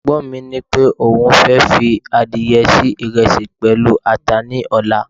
egbon mi nipé oun fe fi adìye se iresi pẹlu ata ni ọlá